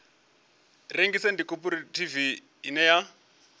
rengisa ndi khophorethivi ine ya